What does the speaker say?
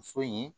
Muso in